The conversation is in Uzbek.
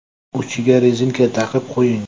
Uchiga rezinka taqib qo‘ying.